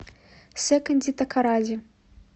секонди такоради